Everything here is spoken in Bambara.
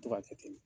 To ka kɛ ten